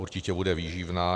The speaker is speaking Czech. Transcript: Určitě bude výživná.